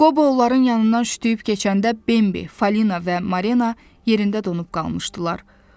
Qobo onların yanından şütdüyüb keçəndə Bembi, Falina və Marina yerində donub qalmışdılar.